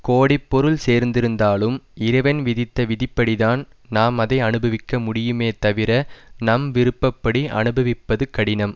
கோடிப்பொருள் சேர்ந்திருந்தாலும் இறைவன் விதித்த விதிப்படிதான் நாம் அதை அனுபவிக்க முடியுமே தவிர நம் விருப்ப படி அனுபவிப்பது கடினம்